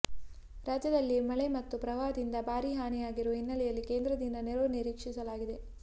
ರಾಜ್ಯದಲ್ಲಿ ಮಳೆ ಮತ್ತು ಪ್ರವಾಹದಿಂದ ಭಾರೀ ಹಾನಿಯಾಗಿರುವ ಹಿನ್ನಲೆಯಲ್ಲಿ ಕೇಂದ್ರದಿಂದ ನೆರವು ನಿರೀಕ್ಷಿಸಲಾಗಿದೆ